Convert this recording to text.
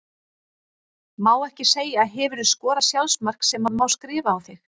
Má ekki segja Hefurðu skorað sjálfsmark sem að má skrifa á þig?